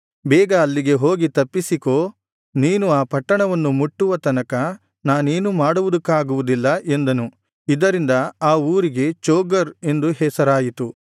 ಬೇಗ ಅಲ್ಲಿಗೆ ಹೋಗಿ ತಪ್ಪಿಸಿಕೋ ನೀನು ಆ ಪಟ್ಟಣವನ್ನು ಮುಟ್ಟುವ ತನಕ ನಾನೇನೂ ಮಾಡುವುದಕ್ಕಾಗುವುದಿಲ್ಲ ಎಂದನು ಇದರಿಂದ ಆ ಊರಿಗೆ ಚೋಗರ್ ಎಂದು ಹೆಸರಾಯಿತು